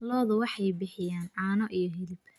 Lo'du waxay bixiyaan caano iyo hilib.